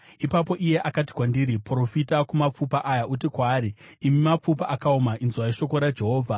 Ipapo iye akati kwandiri, “Profita kumapfupa aya uti kwaari, ‘Imi mapfupa akaoma, inzwai shoko raJehovha: